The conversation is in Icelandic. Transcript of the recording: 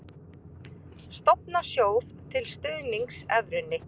Stofna sjóð til stuðnings evrunni